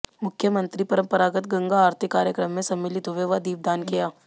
मुख्यमंत्री परंपरागत गंगा आरती कार्यक्रम में सम्मिलित हुए व दीपदान किया